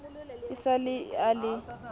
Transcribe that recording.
e sa le a le